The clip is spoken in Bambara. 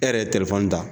E yɛrɛ ye telefɔni ta